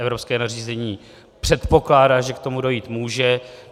Evropské nařízení předpokládá, že k tomu dojít může.